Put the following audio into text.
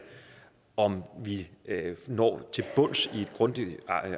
om vi når til bunds i grundigt